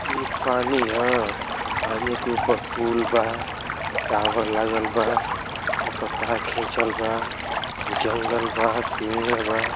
ई पानी ह। पानी के ऊपर पूल बा टावर लागल बा ओप तार खींचल बा। जंगल बा पेंड बा।